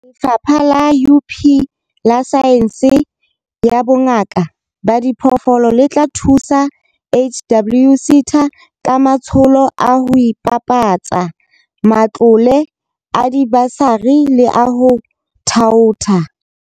Lefapha la UP la Saense ya Bongaka ba Diphoofolo le tla thusa HWSETA ka matsholo a ho ibapatsa, a matlole a dibasari le a ho thaotha.